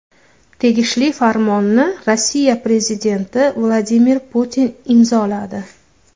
Tegishli farmonni Rossiya prezidenti Vladimir Putin imzoladi.